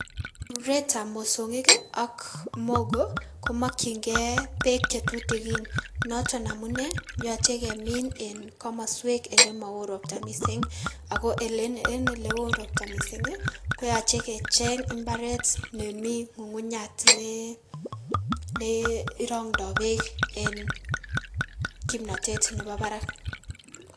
Ruretab mosong'ik ak mogo komokying'ee beek chetutukin noton amunee yoche kemiin en komoswek elemowoo robtaa mising, akoo en elewoo robtaa mising koyoche kecheng mbaret nemii ng'ung'unyat nee rong'ndoo beek en kipnoteet neboo barak.